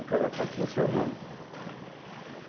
E cada quatro tinha seu nome.